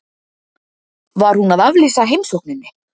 Var hún að aflýsa heimsókninni?